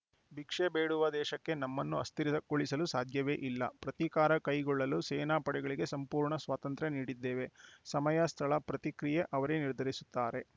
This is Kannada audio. ಭಿಕ್ಷೆ ಬೇಡುವ ದೇಶಕ್ಕೆ ನಮ್ಮನ್ನು ಅಸ್ಥಿರ ಳಿಸಲು ಸಾಧ್ಯವೇ ಇಲ್ಲ ಪ್ರತೀಕಾರ ಕೈಗೊಳ್ಳಲು ಸೇನಾ ಪಡೆಗಳಿಗೆ ಸಂಪೂರ್ಣ ಸ್ವಾತಂತ್ರ್ಯ ನೀಡಿದ್ದೇವೆ ಸಮಯ ಸ್ಥಳ ಪ್ರತಿಕ್ರಿಯೆ ಅವರೇ ನಿರ್ಧರಿಸುತ್ತಾರೆ